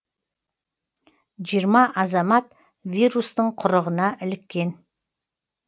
жиырма азамат вирустың құрығына іліккен